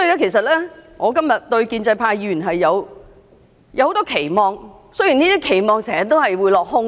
其實，我今天對於建制派議員是有很多期望的，雖然這些期望經常會落空。